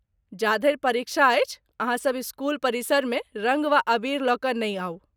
जाधरि परीक्षा अछि, अहाँसब इस्कूल परिसरमे रङ्ग वा अबीर लऽ कऽ नहि आउ।